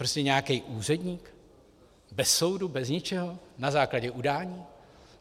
Prostě nějaký úředník bez soudu, bez ničeho, na základě udání?